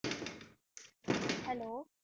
Hello